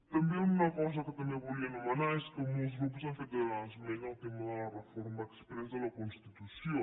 també una altra cosa que volia nomenar és que molts grups han fet esment al tema de la reforma exprés de la constitució